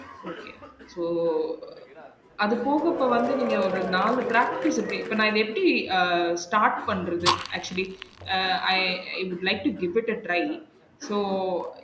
Okay so அதுப்போக இப்போ வந்து நீங்க ஒரு நாலு practice அப்டி இப்போ நா இத எப்டி அஹ் start பண்றது actually uh i i would like to give it a try so